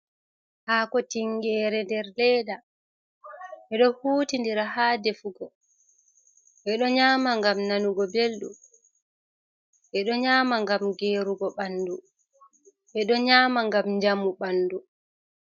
Hako tingere der leda bedo huti dira ha defugo bedo nyama gam nanugo beldu ,bedo nyama ngam gerugo bandu bedo nyama gam jamu bandu.